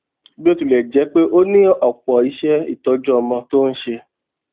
bó tilè jé pé ó ní òpò iṣé ìtọjú ọmọ tó ń ṣe